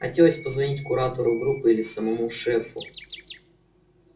хотелось позвонить куратору группы или самому шефу